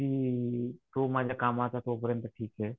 की तो माझ्या कामाचा तोपर्यंत ठीक ये.